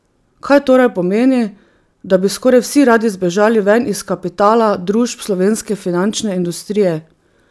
Kaj torej pomeni, da bi skoraj vsi radi zbežali ven iz kapitala družb slovenske finančne industrije?